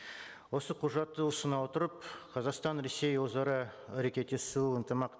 осы құжатты ұсына отырып қазақстан ресей өзара әрекеттесу ынтымақ